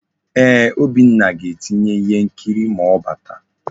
Eeh, Obinna ga-etinye ihe nkiri ma ọ bata.